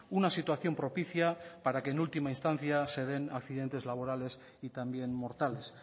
una situación propicia para que en última instancia se den accidentes laborales y también mortales